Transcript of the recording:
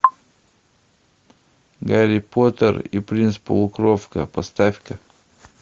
гарри поттер и принц полукровка поставь ка